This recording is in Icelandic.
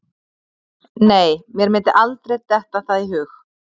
Nei, mér myndi aldrei detta það í hug.